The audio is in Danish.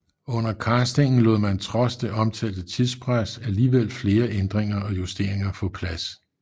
Under castingen lod man trods det omtalte tidspres alligevel flere ændringer og justering få plads